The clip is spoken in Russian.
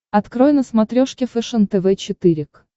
открой на смотрешке фэшен тв четыре к